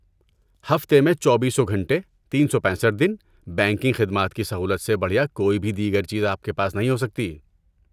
ہفتے میں چوبیسوں گھنٹے، تین سو پیسٹھ دن بینکنگ خدمات کی سہولت سے بڑھیا کوئی بھی دیگر چیز آپ کے پاس نہیں ہو سکتی